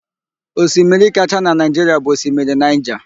Osimiri kachaa na Naịjiria bụ Osimiri Naịja.